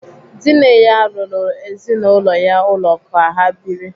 Dinne ya rụrụ ezinaụlọ ya ụlọ ka ha biri.